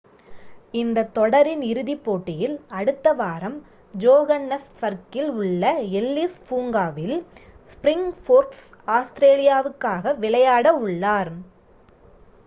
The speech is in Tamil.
இந்தத் தொடரின் இறுதிப் போட்டியில் அடுத்த வாரம் ஜோகன்னஸ்பர்க்கில் உள்ள எல்லிஸ் பூங்காவில் ஸ்ப்ரிங்போர்க்ஸ் ஆஸ்திரேலியாவுக்காக விளையாட உள்ளனர்